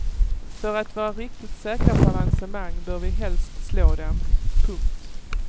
För att vara riktigt säkra på avancemang bör vi helst slå dem. punkt